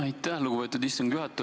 Aitäh, lugupeetud istungi juhataja!